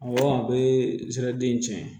Awɔ a bɛ zɛri den in tiɲɛ